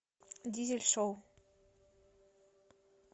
дизель шоу